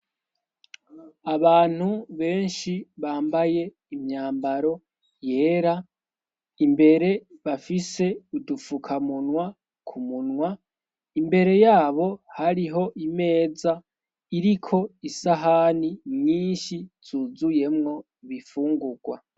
Abantu benshi bambaye imyambaro yera imbere bafise udupfukamunwa ku munwa imbere yabo hariho imeza iriko isahani nyinshi zuzuyemwo bifungurwa.